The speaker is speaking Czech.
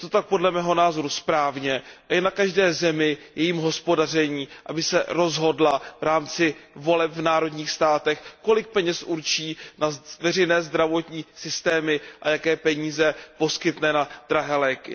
Je to tak podle mého názoru správně a je na každé zemi, jejím hospodaření, aby se rozhodla v rámci voleb v národních státech, kolik peněz určí na veřejné zdravotní systémy a jaké peníze poskytne na drahé léky.